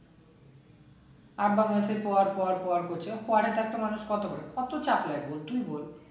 বলছে পড় পড় পড় করছে পড়ে তো একটা মানুষ কত করে কত চাপ নেবো তুই বল